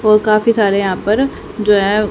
और काफी सारे यहां पर जो है।